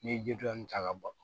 N'i ye jirija in ta ka bɔ